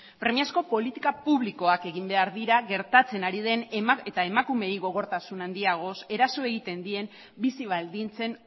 premiazko politika publikoak egin behar dira gertatzen ari den eta emakumeei gogortasun handiagoz eraso egiten dien bizi baldintzen